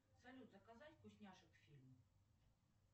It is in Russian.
салют заказать вкусняшек к фильму